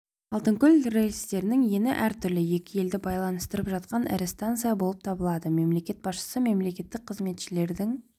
алтынкөл рельстерінің ені әртүрлі екі елді байланыстырып жатқан ірі станция болып табылады мемлекет басшысы мемлекеттік қызметшілердің